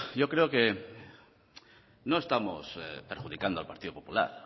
yo creo que no estamos perjudicando al partido popular